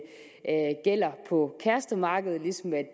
gælder på kærestemarkedet ligesom det